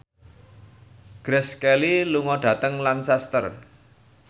Grace Kelly lunga dhateng Lancaster